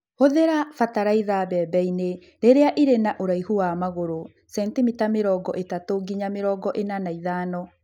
Hũthĩra batalaiza mbembe-inĩ rĩrĩa irĩ na ũraihu wa magũrũ (centimita mĩrongo ĩtatu nginya mĩrongo ĩna na ithano).